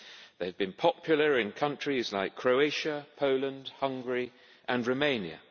These have been popular in countries like Croatia, Poland, Hungary and Romania.